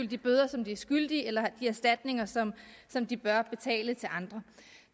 de bøder som de er skyldige eller de erstatninger som som de bør betale til andre